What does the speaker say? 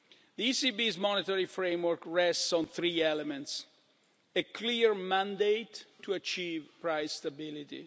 The ECB's monetary framework rests on three elements a clear mandate to achieve price stability